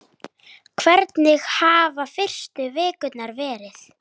Hvernig hafa fyrstu vikurnar verið?